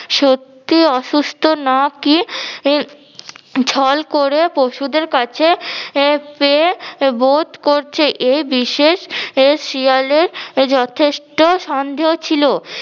সত্যি অসুস্থ নাকি ই ছল করে পশুদের কাছে পেয়ে বোধ করছে এই বিশেষ শেয়ালের যথেষ্ট সন্দেহ ছিল